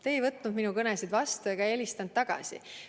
Te ei võtnud minu kõnesid vastu ega helistanud tagasi.